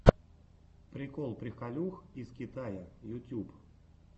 прикол приколюх из китая ютюб